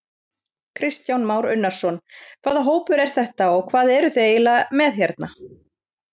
Kristján Már Unnarsson: Hvaða hópur er þetta og hvað eruð þið eiginlega með hérna?